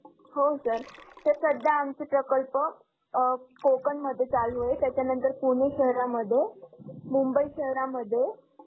हो sir, sir सद्या आमचं प्रकल्प अं कोकणमध्ये चालू आहे त्याच्या नंतर पुणे शहरामध्ये, मुबंई शहरामध्ये